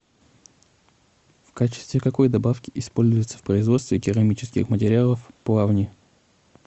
в качестве какой добавки используются в производстве керамических материалов плавни